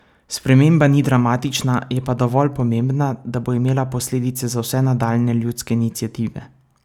Sprememba ni dramatična, je pa dovolj pomembna, da bo imela posledice za vse nadaljnje ljudske iniciative.